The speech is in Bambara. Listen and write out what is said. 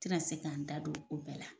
Tɛ na se k'an da don o bɛɛ la.